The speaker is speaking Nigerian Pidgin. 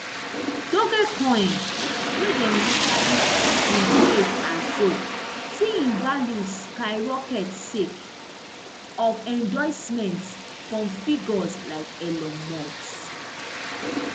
dogecoin wey dem initially bin create as joke see im value skyrocket sake of endorsements from figures like elon musk